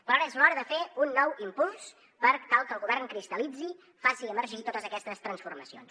però ara és l’hora de fer un nou impuls per tal que el govern cristal·litzi faci emergir totes aquestes transformacions